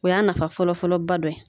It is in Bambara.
O y'a nafa fɔlɔfɔlɔba dɔ ye